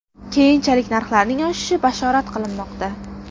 Keyinchalik narxlarning oshishi bashorat qilinmoqda.